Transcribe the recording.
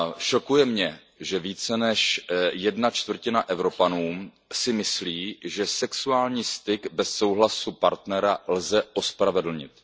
Šokuje mě, že více než jedna čtvrtina Evropanů si myslí, že sexuální styk bez souhlasu partnera lze ospravedlnit.